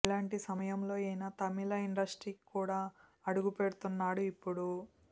ఇలాంటి సమయంలో ఈయన తమిళ ఇండస్ట్రీకి కూడా అడుగు పెడుతున్నాడు ఇప్పుడు